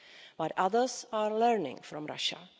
But others are learning from Russia.